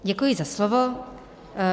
Děkuji za slovo.